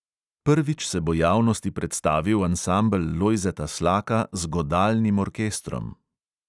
Prvič se bo javnosti predstavil ansambel lojzeta slaka z godalnim orkestrom.